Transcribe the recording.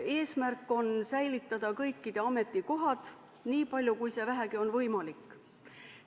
Eesmärk on säilitada kõikide ametikohad, nii palju kui see vähegi võimalik on.